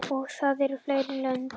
Og það eru fleiri lönd.